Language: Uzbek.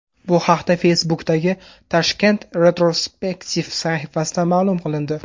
Bu haqda Facebook’dagi Tashkent Retrospective sahifasida ma’lum qilindi .